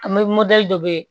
An bɛ dɔ bɛ yen